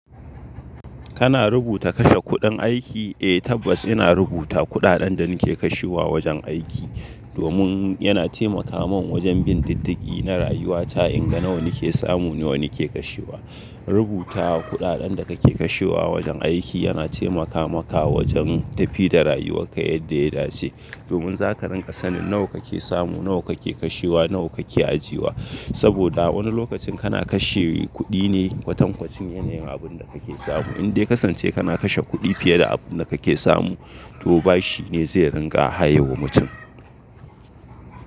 Kana rubuta kashe kuɗin aiki? Eh tabbas ina rubuta kuɗaɗen da nake kashewa wajen aiki. Domin yana taimaka mun wajen bin diddigi na rayuwa ta in ga nawa nake samu nawa nake kashewa. Rubuta kuɗaɗen da kake kashewa wajen aiki yana taimaka maka wajen tafi da rayuwar ka yadda ya dace. Domin zaka rinƙa sanin nawa kake samu nawa kake kashewa nawa kake ajiwa. Saboda wani lokacin kana kashe kuɗi ne kwatankwacin yanayin abunda kake samu. Indai kasance kana kashe kuɗi fiye da abunda kake samu to bashi ne zai ringa haye wa mutum.